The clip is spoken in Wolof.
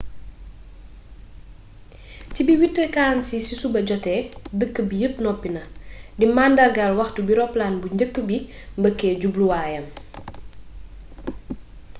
ci bi 8:46 ci suba joté dëkk bi yepp noppina di màndargaal waxtu wi roppalaan bu njëkk bi mbëkkée jubbluwayam